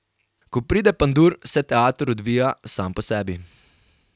Ko pride Pandur, se teater odvija sam po sebi.